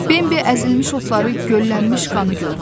Bembi əzilmiş otları, göllənmiş qanı gördü.